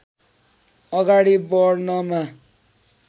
अगाडि बढ्नमा